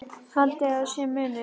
Haldið að sé munur!